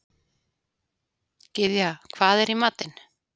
Gyðja, hvað er í matinn?